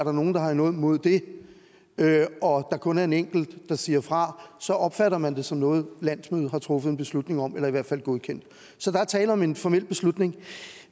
er nogen der har noget imod det og kun er en enkelt der siger fra så opfatter man det som noget landsmødet har truffet en beslutning om eller i hvert fald godkendt så der er tale om en formel beslutning